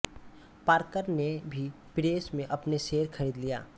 Parker ने भी press में अपने शेयर खरीद लिए